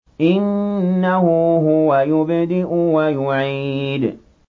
إِنَّهُ هُوَ يُبْدِئُ وَيُعِيدُ